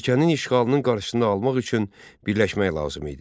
Ölkənin işğalının qarşısını almaq üçün birləşmək lazım idi.